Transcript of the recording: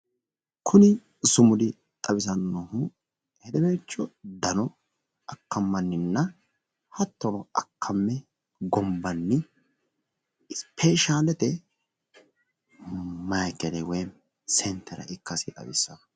Kuni sumudi xawisannohu hedeweelcho dano akkammanninna hattono akkamme gonabnni ispeeshaalete mayiikele woy sentere ikkashi xawisanno